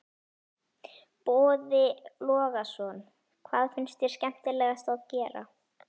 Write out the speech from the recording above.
Boði Logason: Hvað finnst þér skemmtilegast að gera?